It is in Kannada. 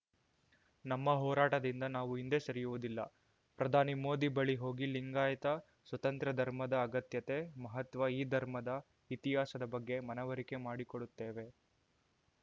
ನಮ್ಮ ಹೋರಾಟದಿಂದ ನಾವು ಹಿಂದೆ ಸರಿಯುವುದಿಲ್ಲ ಪ್ರಧಾನಿ ಮೋದಿ ಬಳಿ ಹೋಗಿ ಲಿಂಗಾಯತ ಸ್ವತಂತ್ರ ಧರ್ಮದ ಅಗತ್ಯತೆ ಮಹತ್ವ ಈ ಧರ್ಮದ ಇತಿಹಾಸದ ಬಗ್ಗೆ ಮನವರಿಕೆ ಮಾಡಿಕೊಡುತ್ತೇವೆ